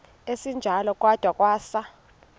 esinjalo kwada kwasa